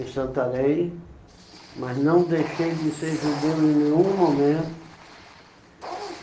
em Santarém, mas não deixei de ser judeu em nenhum momento. Como